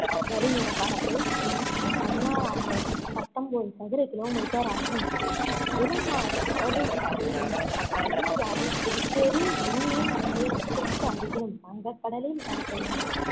வடிநிலப்பரப்பு சுமார் பதினாறாயிரத்தி பத்தொன்பது சதுர kilometer ஆகும் கெடிலம் ஆறு கடலூருக்கு அருகிலும் பெண்ணையாறு புதுச்சேரி யூனியன் பிரதேசத்திற்கு அருகிலும் வங்கக் கடலில் கலக்கின்றன